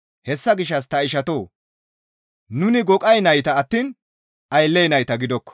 Hessa gishshas ta ishatoo! Nuni goqay nayta attiin aylley nayta gidokko.